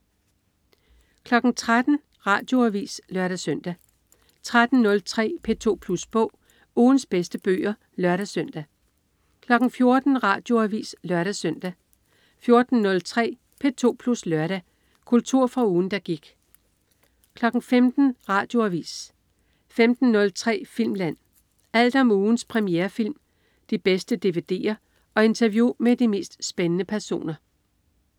13.00 Radioavis (lør-søn) 13.03 P2 Plus Bog. Ugens bedste bøger (lør-søn) 14.00 Radioavis (lør-søn) 14.03 P2 Plus Lørdag. Kultur fra ugen, der gik 15.00 Radioavis 15.03 Filmland. Alt om ugens premierefilm, de bedste dvd'er og interview med de mest spændende personer